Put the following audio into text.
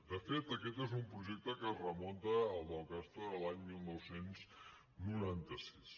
de fet aquest és un projecte que es remunta el del castor a l’any dinou noranta sis